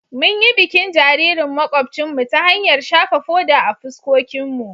Mun yi bikin jaririn makwabcinmu ta hanyar shafa foda a fuskokinmu.